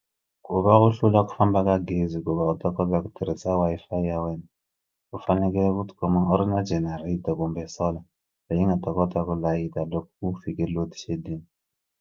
Ku va u hlula ku famba ka gezi ku va u ta kota ku tirhisa Wi-Fi ya wena u fanekele ku tikuma u ri na generator kumbe solar leyi nga ta kota ku layita loko u fike loadshedding.